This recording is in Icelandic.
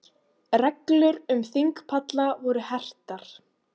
Reglur um þingpalla voru hertar